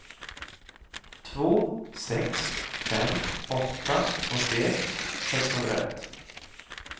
två sex fem åtta åttioett sexhundraett